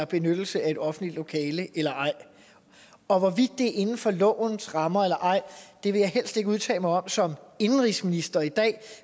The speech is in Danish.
benyttelse af et offentligt lokale eller ej og hvorvidt det er inden for lovens rammer eller ej vil jeg helst ikke udtale mig om som indenrigsminister i dag